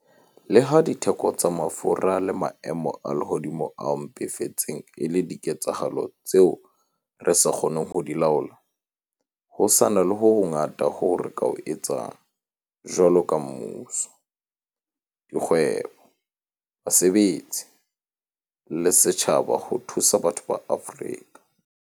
Le ha ditheko tsa mafura le maemo a lehodimo a mpefetseng e le diketsahalo tseo re sa kgoneng ho di laola, ho sa na le ho hongata hoo re ka ho etsang, jwaloka mmuso, dikgwebo, basebetsi le setjhaba, ho thusa batho ba Afrika